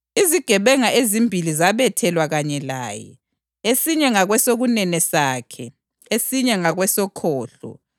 Izigebenga ezimbili zabethelwa kanye laye, esinye ngakwesokunene sakhe, esinye ngakwesokhohlo.